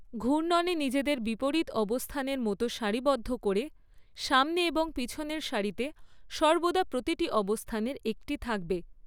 ঘূর্ণনে নিজেদের বিপরীত অবস্থানের মতো সারিবদ্ধ করে, সামনে এবং পিছনের সারিতে সর্বদা প্রতিটি অবস্থানের একটি থাকবে।